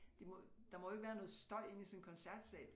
Det må der må jo ikke være noget støj inde i sådan en koncertsal